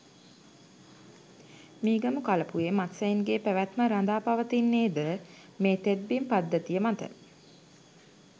මීගමු කලපුවේ මත්ස්‍යයින් ගේ පැවැත්ම රදා පවතින්නේ ද මේ තෙත්බිම් පද්ධතිය මත ය.